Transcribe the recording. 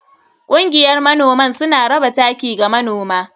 Kungiyar manoman suna raba taki ga manoma.